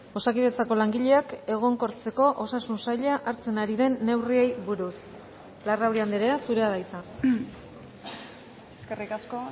osakidetzako langileak egonkortzeko osasun saila hartzen ari den neurriei buruz larrauri andrea zurea da hitza eskerrik asko